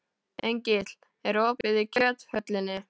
Engill, er opið í Kjöthöllinni?